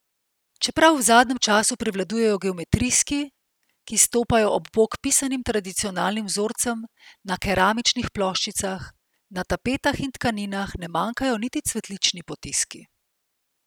Čeprav v zadnjem času prevladujejo geometrijski, ki stopajo ob bok pisanim tradicionalnim vzorcem na keramičnih ploščicah, na tapetah in tkaninah ne manjkajo niti cvetlični potiski.